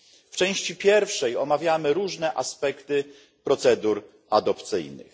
W części pierwszej omawiamy różne aspekty procedur adopcyjnych.